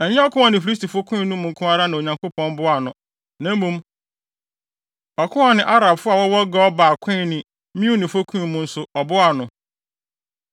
Ɛnyɛ ɔko a ɔne Filistifo koe no mu nko ara na Onyankopɔn boaa no, na mmom ɔko a ɔne Arabfo a wɔwɔ Gur Baal koe ne Meunifo ko mu nso, ɔboaa no.